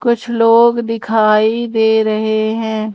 कुछ लोग दिखाई दे रहे हैं।